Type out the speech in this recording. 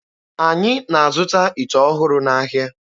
Anyị na-azụta ite ọhụrụ n'ahịa.